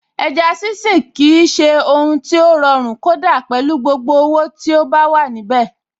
Ẹja sínsìn kì í ṣe ohun tí ó rọrùn kódà pẹ̀lú gbogbo owó tí ó wà níbẹ̀.